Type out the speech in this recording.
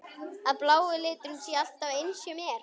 Að blái liturinn sé alltaf eins hjá mér?